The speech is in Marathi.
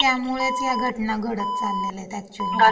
अन् त्यामुळेच या घटना घडत चाललेल्या येत अॅक्च्युलमधे.